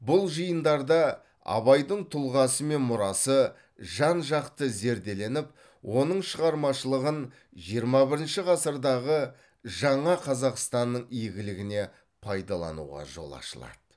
бұл жиындарда абайдың тұлғасы мен мұрасы жан жақты зерделеніп оның шығармашылығын жиырма бірінші ғасырдағы жаңа қазақстанның игілігіне пайдалануға жол ашылады